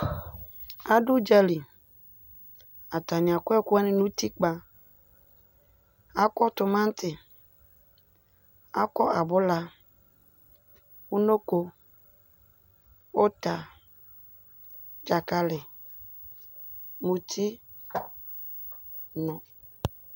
Adʋ ʋdzali, atani akɔ ɛkʋwani n'utikpa Akɔ tʋmati, akɔ abʋla, ungko, ʋta, dzakali, ŋuti, nʋ